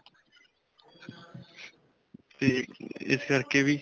'ਤੇ ਇਸ ਕਰਕੇ ਵੀ.